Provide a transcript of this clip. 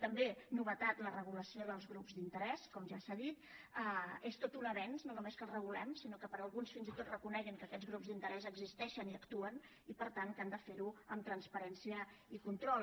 també novetat la regulació dels grups d’interès com ja s’ha dit és tot un avenç no només que els regulem sinó que alguns fins i tot reconeguin que aquests grups d’interès existeixen i actuen i per tant que han de ferho amb transparència control